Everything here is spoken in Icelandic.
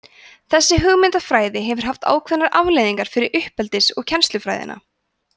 þessi hugmyndafræði hefur haft ákveðnar afleiðingar fyrir uppeldis og kennslufræðina